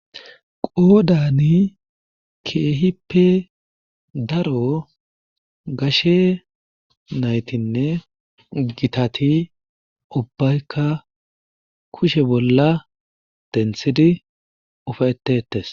Qoodani keehippe daro gashe naytinne gitati ubaykka kushe bolla denthidi ufaytetees.